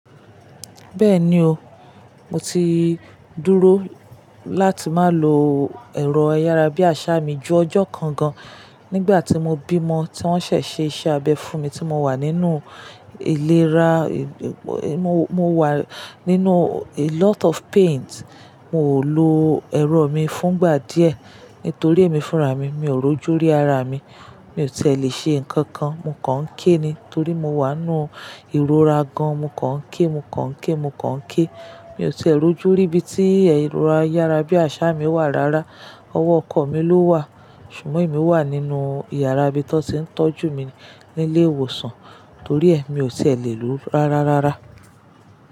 Bẹ́ẹ̀ni o, mo ti dúró láti má lo ẹ̀rọ ayára bí àsá mi ju ọjọ́ kan gan. Nígbà tí mo bímọ, tí wọ́n ṣẹ̀ ṣe iṣẹ́ abẹ fún mi tí mo wà nínú ìlera, mo, mo wà nínú a lot of pains. Mi ò lo ẹ̀rọ mi fúngbà díẹ̀ nítorí èmi fúnra mi, mi ò rójú rí ara mi. Mi ò tí è lè ṣe nǹkan kan, mo kàn ké ni torí mo wà nínú ìrora gan, mo kàn ké, mo kàn ké, mo kàn ké. Mi ò tí è rójú ríbi tí ẹ̀rọ ayára bí àsá mi wà rárá. Ọwọ́ ọkọ mi ló wà. Ṣùgbọ́n èmi wà nínú ìyàrá ibi tó ti ń tọ́jú mi ní ilé ìwòsàn, torí ẹ mi ò tí è lè lo rárá rárá.